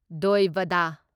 ꯗꯣꯢ ꯚꯗ